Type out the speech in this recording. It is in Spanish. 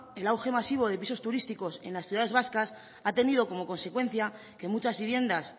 el auge masivo de pisos turísticos en las ciudades vascas ha tenido como consecuencia que muchas viviendas